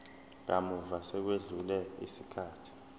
kamuva sekwedlule isikhathi